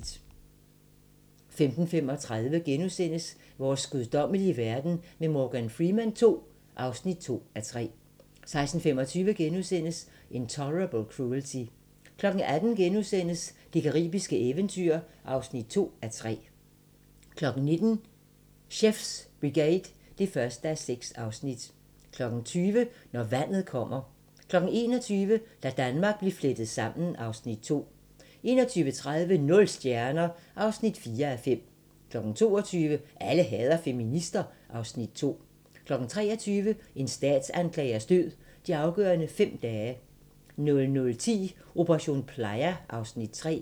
15:35: Vores guddommelige verden med Morgan Freeman II (2:3)* 16:25: Intolerable Cruelty * 18:00: Det caribiske eventyr (2:3)* 19:00: Chef's Brigade (1:6) 20:00: Når vandet kommer 21:00: Da Danmark blev flettet sammen (Afs. 2) 21:30: Nul stjerner (4:5) 22:00: Alle hader feminister (Afs. 2) 23:00: En statsanklagers død: De afgørende fem dage 00:10: Operation Playa (Afs. 3)